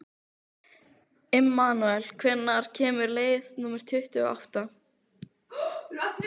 Immanúel, hvenær kemur leið númer tuttugu og átta?